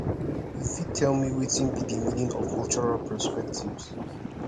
you fit tell me wetin be di meaning of cultural perspectives